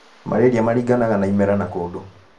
malaria maringanaga na imera na kũndũ